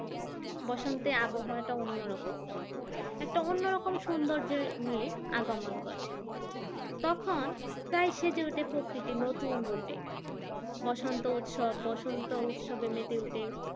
বসন্তে আবহাওয়াটা অন্যরকম একটা অন্যরকম সৌন্দর্য নিয়ে আগমন করে তখন প্রায় সেজে ওঠে প্রকৃতি নতুন রূপে বসন্ত উৎসব বসন্ত উৎসবে মেতে উঠে